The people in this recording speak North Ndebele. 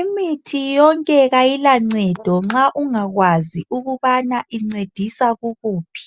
Imithi yonke ayila ncedo ma ungakwazi ukuba incedisa kukuphi